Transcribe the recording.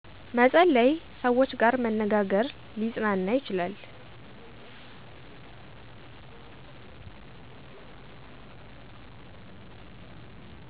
መፀለይ ሰውች ጋር መነጋግር ሊፅናና ይችላል